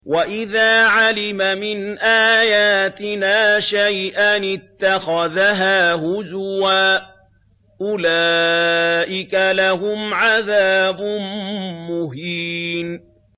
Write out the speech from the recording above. وَإِذَا عَلِمَ مِنْ آيَاتِنَا شَيْئًا اتَّخَذَهَا هُزُوًا ۚ أُولَٰئِكَ لَهُمْ عَذَابٌ مُّهِينٌ